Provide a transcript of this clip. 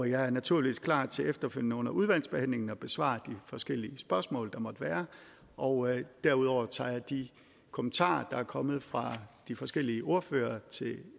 jeg er naturligvis klar til efterfølgende under udvalgsbehandlingen at besvare de forskellige spørgsmål der måtte være og derudover tager jeg de kommentarer der er kommet fra de forskellige ordførere til